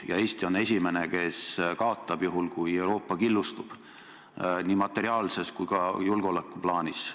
Ja Eesti on esimene, kes kaotab, juhul kui Euroopa killustub – nii materiaalses kui ka julgeoleku plaanis.